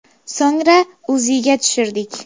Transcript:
– So‘ngra UZIga tushirdik.